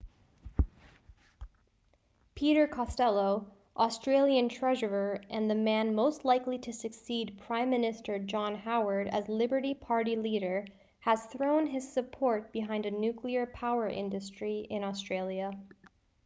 peter costello australian treasurer and the man most likely to succeed prime minister john howard as liberal party leader has thrown his support behind a nuclear power industry in australia